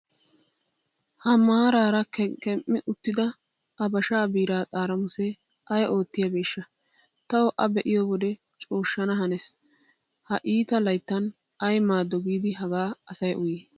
Ha maarara kekem'i uttida habashaa biiraa xaramusee ay oottiyobeshsha tawu A be'iyo wode cooshshana hannees. Ha iita layttan ay maado giid hagaa asay uyyii.